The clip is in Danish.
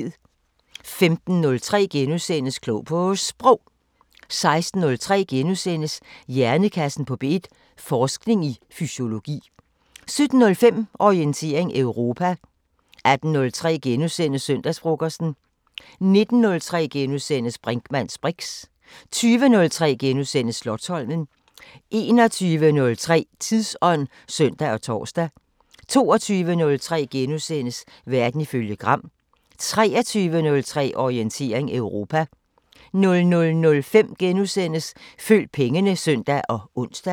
15:03: Klog på Sprog * 16:03: Hjernekassen på P1: Forskning i fysiologi * 17:05: Orientering Europa 18:03: Søndagsfrokosten * 19:03: Brinkmanns briks * 20:03: Slotsholmen * 21:03: Tidsånd (søn og tor) 22:03: Verden ifølge Gram * 23:03: Orientering Europa 00:05: Følg pengene *(søn og ons)